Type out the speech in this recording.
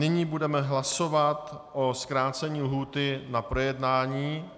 Nyní budeme hlasovat o zkrácení lhůty na projednání.